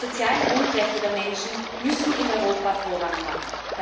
Die sozialen Grundrechte der Menschen müssen in Europa Vorrang haben.